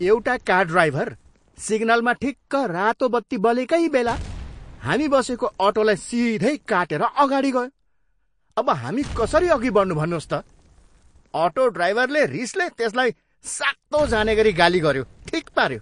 एउटा car driver सिग्नलमा ठिक्क रातो बत्ती बलेकै बेला हामी बसेको अटोलाई सिधै काटेर अगाडि गयो। अब हामी कसरी अघि बढ्नु भन्नुहोस् त! अटो ड्राइभरले रिसले त्यसलाई सातो जानेगरी गाली गऱ्यो! ठिक पाऱ्यो!